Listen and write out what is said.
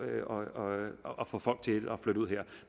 at få folk til at flytte ud